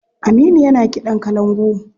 Aminu yana kiɗan kalangu.